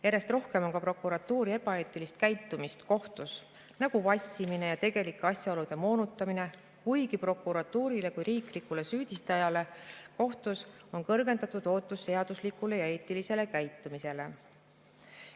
Järjest rohkem on ka prokuratuuri ebaeetilist käitumist kohtus, nagu vassimine ja tegelike asjaolude moonutamine, kuigi prokuratuurile kui riiklikule süüdistajale kohtus on kõrgendatud ootus seaduslikule ja eetilisele käitumisele.